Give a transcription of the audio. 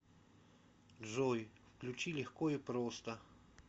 джой включи легко и просто